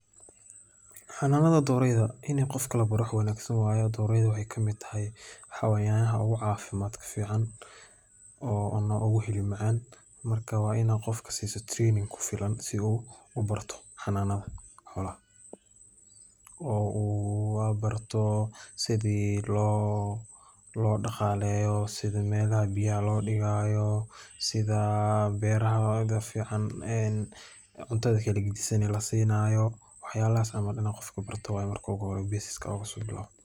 Xanunada doreyda in qofka labaro aad aayeey ufican tahay aad ayeey u hilib macaan tahay waa mujin sait ah sida loo daqaaleyo sida cunada loo siiyo in labaro waye qofka.